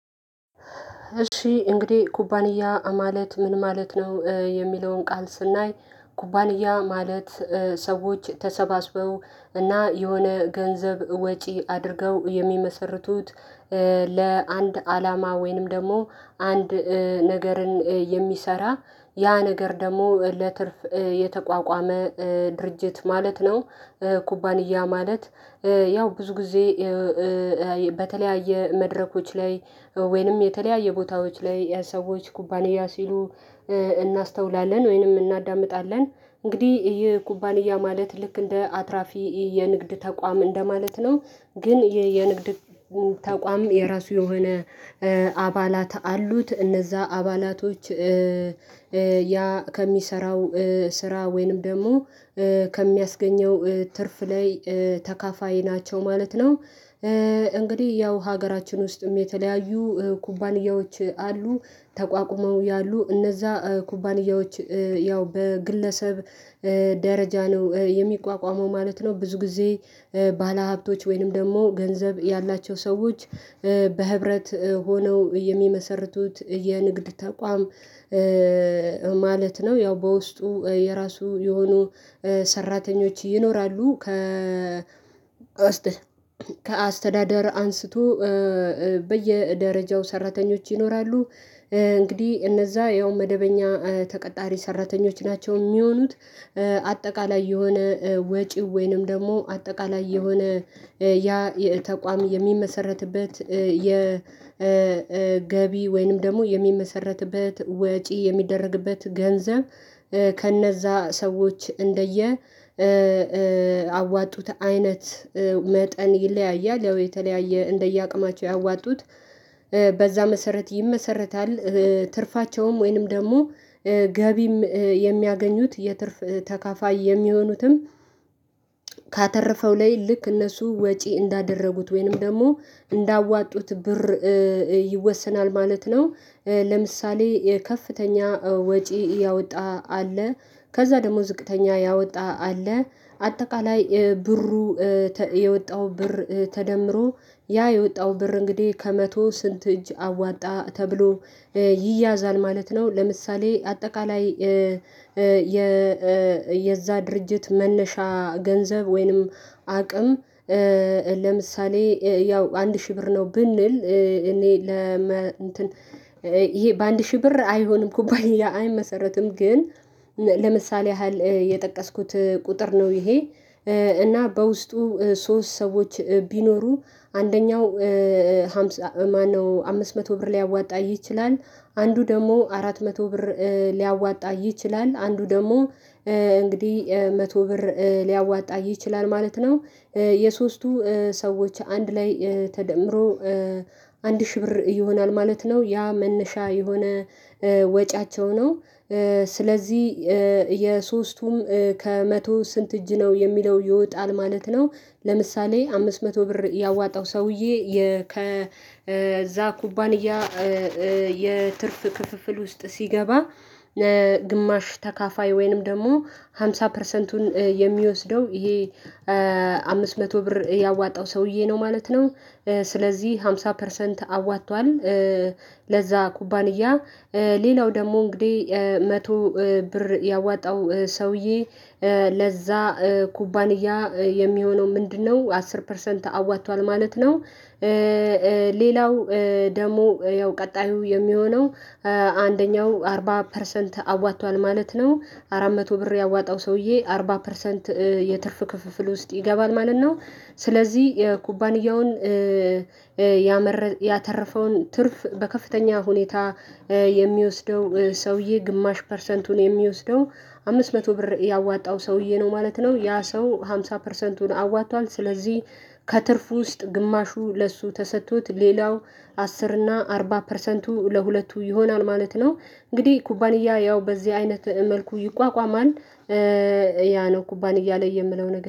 እሺ እንግዲህ ኩባንያ ማለት ምን ማለት ነው? የሚለውን ቃል ስናይ ኩባንያ ማለት ሰዎች ተሰባስበው እና የሆነ ገንዘብ ወጪ አድርገው የሚመሰርቱት ለአንድ አላማ ወይንም ደግሞ አንድ ነገርን የሚሰራ ያ ነገር ደግሞ ለትርፍ የተቋቋመ ድርጅት ማለት ነው። ኩባንያ ማለት ያው ብዙ ጊዜ በተለያየ መድረኮች ላይ ወይንም የተለያየ ቦታዎች ላይ የሰዎች ኩባንያ ሲሉ እናስተውላለን ወይንም እናዳምጣለን እንግዲህ የኩባንያ ማለት ልክ እንደ አትራፊ የንግድ ተቋም እንደማለት ነው። ግን የንግድ ተቋም የራሱ የሆነ አባላት አሉት እነዛ አባላቶች ያ ከሚሰራው ስራ ወይንም ደግሞ ከሚያስገኘው ትርፍ ላይ ተካፋይ ናቸው ማለት ነው። እንግዲህ ያው ሀገራችን ውስጥም የተለያዩ ኩባንያዎች አሉ ተቋቁመው ያሉ እነዛ ኩባንያዎች ያው በግለሰብ ደረጃ ነው የሚቋቋመው ማለት ነው። ብዙ ጊዜ ባለሀብቶች ወይንም ደግሞ ገንዘብ ያላቸው ሰዎች በህብረት ሆነው የሚመሰርቱት የንግድ ተቋም ማለት ነው። ያው በውስጡ የራሱ የሆኑ ሰራተኞች ይኖራሉ ከ ውስጥ ከአስተዳደር አንስቶ በየደረጃው ሰራተኞች ይኖራሉ። እንግዲህ እነዛ ያው መደበኛ ተቀጣሪ ሰራተኞች ናቸው የሚሆኑት አጠቃላይ የሆነ ወጪው ወይንም ደግሞ አጠቃላይ የሆነ ያ ተቋም የሚመሰረትበት የገቢ ወይንም ደግሞ የሚመሰረትበት ወጪ የሚደረግበት ገንዘብ ከነዛ ሰዎች እንደየ አዋጡት አይነት መጠን ይለያያል ያው የተለያየ እንደየአቅማቸው ያዋጡት በዛ መሰረት ይመሰረታል። ትርፋቸውም ወይንም ደግሞ ገቢም የሚያገኙት የትርፍ ተካፋይ የሚሆኑትም ካተረፈው ላይ ልክ እነሱ ወጪ እንዳደረጉት ወይንም ደግሞ እንዳዋጡት ብር ይወሰናል ማለት ነው። ለምሳሌ ከፍተኛ ወጪ ያወጣ አለ ከዛ ደግሞ ዝቅተኛ ያወጣ አለ አጠቃላይ ብሩ የወጣው ብር ተደምሮ ያ የወጣው ብር እንግዲህ ከመቶ ስንት እጅ አዋጣ ተብሎ ይያዛል ማለት ነው። ለምሳሌ አጠቃላይ የዛ ድርጅት መነሻ ገንዘብ ወይንም አቅም ለምሳሌ ያው አንድ ሺህ ብር ነው ብንል እኔ ለ እንትን ይሄ በአንድ ሺህ ብር አይሆንም ኩባንያ አይመሰረትም። ግን ለምሳሌ ያህል የጠቀስኩት ቁጥር ነው ይሄ እና በውስጡ ሶስት ሰዎች ቢኖሩ አንደኛው ማነው አምስት መቶ ብር ሊያዋጣ ይችላል? አንዱ ደግሞ አራት መቶ ብር ሊያዋጣ ይችላል አንዱ ደግሞ እንግዲህ መቶ ብር ሊያዋጣ ይችላል ማለት ነው። የሶስቱ ሰዎች አንድ ላይ ተደምሮ አንድ ሺህ ብር ይሆናል ማለት ነው ያ መነሻ የሆነ ወጪያቸው ነው ስለዚህ የሶስቱም ከመቶ ስንት እጅ ነው የሚለው ይወጣል ማለት ነው። ለምሳሌ አምስት መቶ ብር ያዋጣው ሰውዬ ከዛ ኩባንያ የትርፍ ክፍፍል ውስጥ ሲገባ ግማሽ ተካፋይ ወይንም ደግሞ ሃምሳ ፐርሰንቱን የሚወስደው ይሄ አምስት መቶ ብር ያዋጣው ሰውዬ ነው ማለት ነው። ስለዚህ አምሳ ፐርሰንት አዋጥቷል ለዛ ኩባንያ ሌላው ደግሞ እንግዲህ መቶ ብር ያዋጣው ሰውዬ ለዛ ኩባንያ የሚሆነው ምንድነው? አስር ፐርሰንት አዋጥቷል ማለት ነው። ሌላው ደግሞ ያው ቀጣዩ የሚሆነው አንደኛው አርባ ፐርሰንት አዋጥቷል ማለት ነው አራት መቶ ብር ያዋጣው ሰውዬ አርባ ፐርሰንት የትርፍ ክፍፍል ውስጥ ይገባል ማለት ነው። ስለዚህ የኩባንያውን ያተረፈውን ትርፍ በከፍተኛ ሁኔታ የሚወስደው ሰውዬ ግማሽ ፐርሰንቱን የሚወስደው አምስት መቶ ብር ያዋጣው ሰውዬ ነው ማለት ነው። ያ ሰው ሃምሳ ፐርሰንቱን አዋጥቷል ስለዚህ ከትርፍ ውስጥ ግማሹ ለእርሱ ተሰጥቶት ሌላው አስር እና አርባ ፐርሰንቱ ለሁለቱ ይሆናል ማለት ነው። እንግዲህ ኩባንያ ያው በዚህ አይነት መልኩ ይቋቋማል። ያ ነው ኩባን እያለ የምነው